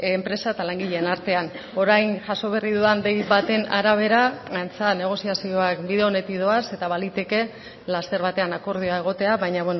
enpresa eta langileen artean orain jaso berri dudan dei baten arabera antza negoziazioak bide onetik doaz eta baliteke laster batean akordioa egotea baina